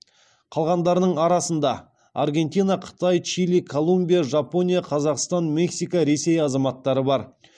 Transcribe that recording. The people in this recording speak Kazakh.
қалғандарының арасында аргентина қытай чили колумбия жапония қазақстан мексика ресей азаматтары бар